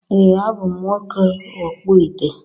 Ee a bụ m nwoke okpu ite